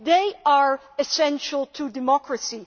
They are essential to democracy.